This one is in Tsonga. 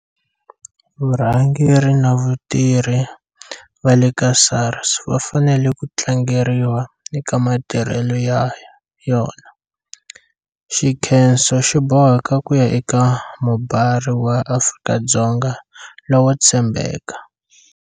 Vurhangeri na vatirhi va le ka SARS va fanele ku tlangeriwa eka matirhelo ya yona. Xinkhenso xi boheka ku ya eka mubari wa Afrika-Dzonga lowo tshembeka.